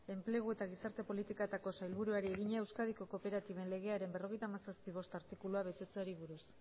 enplegu eta gizarte politiketako sailburuari egina euskadiko kooperatiben legearen berrogeita hamazazpi puntu bost artikulua betetzeari buruz